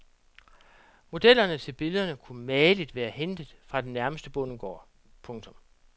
Modellerne til billederne kunne mageligt være hentet fra den nærmeste bondegård. punktum